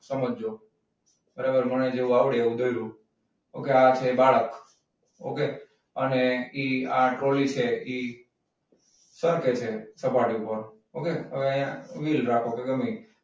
સમજજો. બરાબર મને જેવું આવડે એવું દોર્યું. okay અને એ આ ટ્રોલી છે ઈ સરકે છે સપાટી ઉપર okay હવે વિલ રાખો તો ગમી ઈ.